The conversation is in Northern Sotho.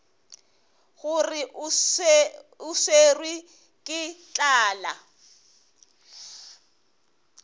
gore o swerwe ke tlala